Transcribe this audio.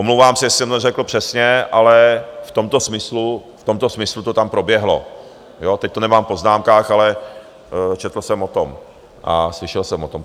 Omlouvám se, jestli jsem to neřekl přesně, ale v tomto smyslu to tam proběhlo - teď to nemám v poznámkách, ale četl jsem o tom a slyšel jsem o tom.